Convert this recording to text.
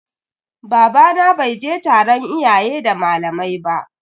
Babana bai je taron iyaye da malamai ba.